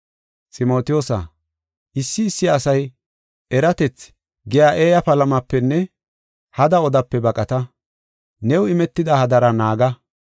Ximotiyoosa, issi issi asay, “Eratethi” giya eeya palamapenne hada odape baqata; new imetida hadara naaga.